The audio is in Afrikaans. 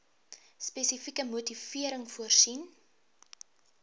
spesifieke motivering voorsien